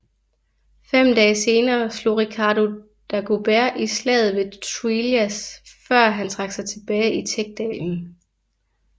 Fem dage senere slog Ricardo Dagobert i Slaget ved Truillas før han trak sig tilbage i Tech dalen